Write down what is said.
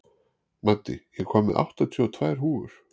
Maddý, ég kom með áttatíu og tvær húfur!